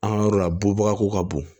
An ka yɔrɔ la bɔbaga ko ka bon